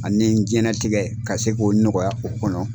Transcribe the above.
Ani n jɛnatigɛ ka se k'o nɔgɔya o kɔnɔ.